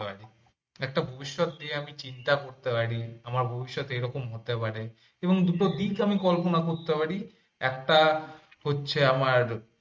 একটা ভবিষ্যৎ নিয়ে আমি চিন্তা করতে পারি আমার ভবিষ্যৎ এরকম হতে পারে এবং দুটো দিক আমি কল্পনা করতে পারি। একটা হচ্ছে আমার